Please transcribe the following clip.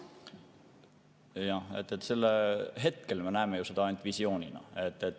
Jah, hetkel me näeme seda ainult visioonina.